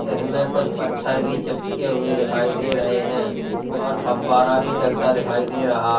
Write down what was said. इनमे कुछ पत्थर भी चिपके हुए दिखाई दे रहे हैं और फब्बारा भी चलता दिखाई दे रहा--